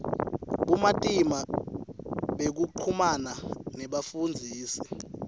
bumatima bekuchumana nebafundzisi